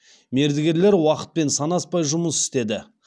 мердігерлер уақытпен санаспай жұмыс істеді